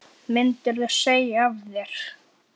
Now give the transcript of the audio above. Myndirðu segja af þér?